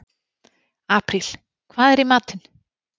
Apríl, hvað er í matinn?